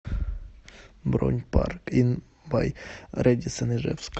бронь парк ин бай рэдисон ижевск